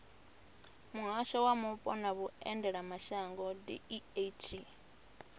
muhasho wa mupo na vhuendelamashango deat